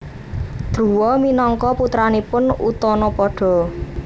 Druwa minangka putranipun Utanapada